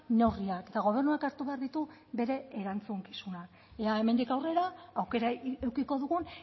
neurriak eta gobernuak hartu behar ditu bere erantzukizuna ea hemendik aurrera aukera edukiko dugun